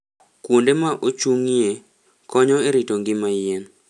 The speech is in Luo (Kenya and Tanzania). Kuonde ma ochung'ie, konyo e rito ngima yien.